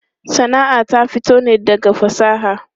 Sana'a ta fito ne daga fasaha.